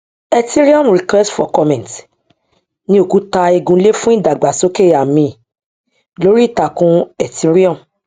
ethereum request for comment ni òkúta igun ilé fún ìdàgbàsókè àmì lórí ìtàkùn ethereum